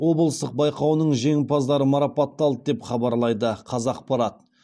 облыстық байқауының жеңімпаздары марапатталды деп хабарлайды қазақпарат